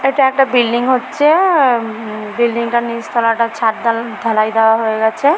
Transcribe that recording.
এটা একটা বিল্ডিং হচ্ছে আ উম বিল্ডিং -টার নিচ তলা টা ছাদ ধা ঢালাই দেওয়া হয়ে গেছে ।